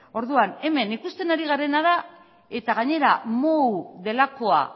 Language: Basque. orduan hemen ikusten ari garena da eta gainera delakoa